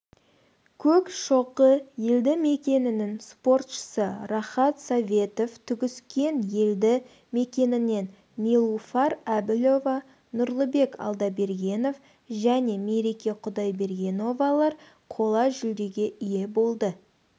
көкшоқы елді мекенінің спортшысы рахат советов түгіскен елді мекенінен нилуфар әбілова нұрлыбек алдабергенов және мереке құдайбергеновалар қола жүлдеге ие болды